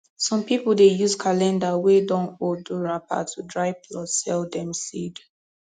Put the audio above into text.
some people dey use calendar wey don old do wrapper to dry plus sell dem seed